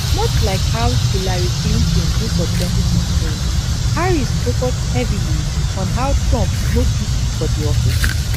much like how hillary clinton do for 2016 harris focus heavily on how trump no fit for di office